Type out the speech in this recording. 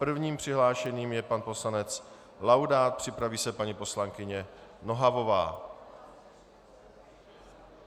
Prvním přihlášeným je pan poslanec Laudát, připraví se paní poslankyně Nohavová.